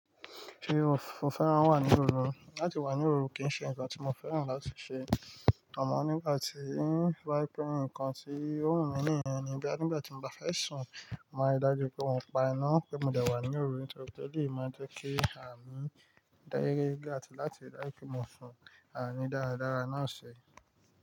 Ṣé o fẹ́ran wà ní òru? Láti wà ní òru kì í ṣe ǹkan tí mo fẹ́ran láti ṣe. Amò nígbà tí to ba je pè ǹkan tí ó wù mí ní nìyen ni. Nígbà tí mo bá fẹ́ sùn, màá ri dájú pé mo pa iná, pé mo dẹ̀ wà ní òru, nitorí pe ẹ́lẹ̀yì máa ń jẹ́ kí àmìn dá yekeyeke àtì láti ri dáju pe mo sùn, àmìn dáradára náà ṣi.